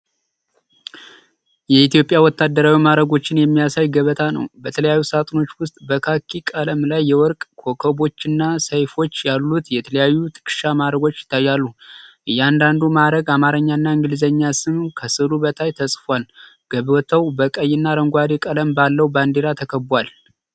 የኢትዮጵያ ወታደራዊ ማዕረጎችን የሚያሳይ ገበታ ነው። በተለያዩ ሳጥኖች ውስጥ በካኪ ቀለም ላይ የወርቅ ኮከቦችና ሰይፎች ያሉት የተለያዩ የትከሻ ማዕረጎች ይታያሉ። የእያንዳንዱ ማዕረግ የአማርኛና የእንግሊዝኛ ስም ከሥዕሉ በታች ተጽፏል። ገበታው በቀይና አረንጓዴ ቀለም ባለው ባንዲራ ተከቧል።